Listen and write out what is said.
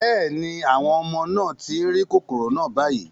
Bẹ́ẹ̀ ni, àwọn ọmọ náà tí ń rí kòkòrò náà báyìí